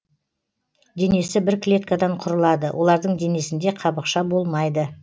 денесі бір клеткадан құрылады олардың денесінде қабықша болмайды